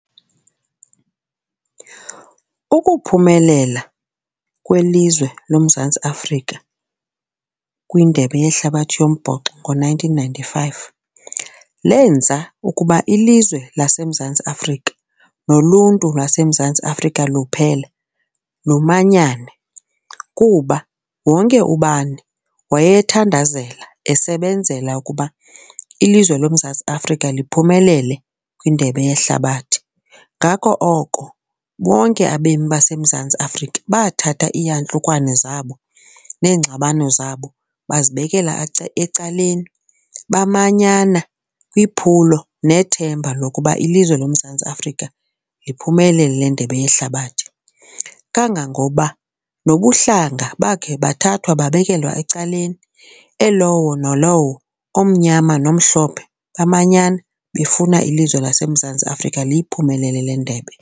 Ukuphumelela kwelizwe loMzantsi Afrika kwindebe yehlabathi yombhoxo ngo-nineteen ninety-five lenza ukuba ilizwe laseMzantsi Afrika noluntu lwaseMzantsi Afrika luphela lumanyane kuba wonke ubani wayethandazela esebenzela ukuba ilizwe loMzantsi Afrika liphumelele kwindebe yehlabathi. Ngako oko bonke abemi baseMzantsi Afrika bathatha iiyantlukwano zabo neengxabano zabo bazibekela ecaleni, bamanyana kwiphulo nethemba lokuba ilizwe loMzantsi Afrika liphumelele le ndebe yehlabathi. Kangangoba nobuhlanga bakhe bathathwa babekelwa ecaleni, elowo nalowo omyama nomhlophe, bamanyana befuna ilizwe laseMzantsi Afrika liyiphumelele le ndebe.